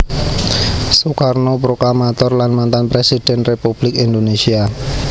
Soekarno Proklamator lan mantan Presiden Republik Indonésia